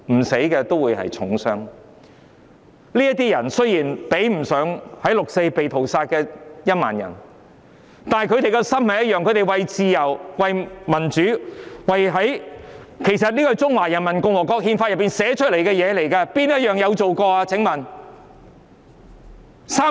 雖然他們受的傷比不上在"六四"被屠殺的1萬人，但他們的心態一樣，為了自由和民主——其實這是中華人民共和國憲法訂明的條文，請問有做過哪一項？